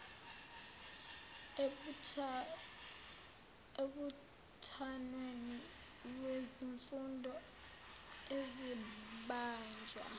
embuthanweni wezifundo ezibanjwa